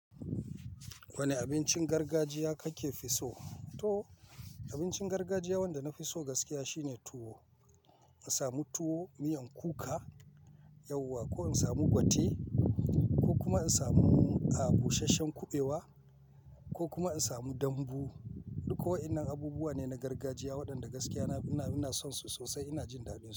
Wani abincin gargajiya kake fi so? Toh abincin gargajiya wanda na fi so gaskiya shine tuwo. In samu tuwo, miyan kuka, yauwa ko in samu gwate ko kuma in samu, a busasshen kuɓewa ko kuma in samu dambu. Duk wa innan abubuwa ne na gargajiya waɗanda gaskiya ina, ina son su sosai. Ina jin daɗinsu.